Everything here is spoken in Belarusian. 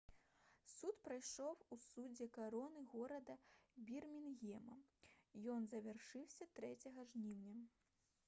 суд прайшоў у судзе кароны горада бірмінгема ён завяршыўся 3 жніўня